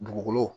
Dugukolo